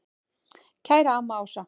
Kæra amma Ása.